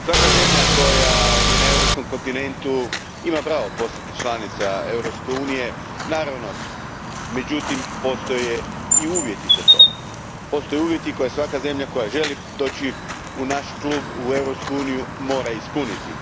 Gospodine predsjedniče, svaka zemlja na europskom kontinentu ima pravo postati članica Europske unije. Međutim, postoje i uvjeti za to. Postoje uvjeti koje svaka zemlja koja želi doći u naš klub, u Europsku uniju, mora ispuniti.